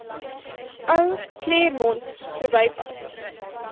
ou claremont verbypad